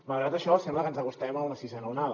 malgrat això sembla que ens acostem a una sisena onada